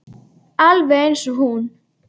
Alveg eins og hún.